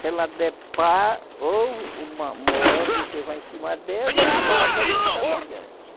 Se ela der pá, ou morre o que vai em cima dela, ou mata quem está lá adiante.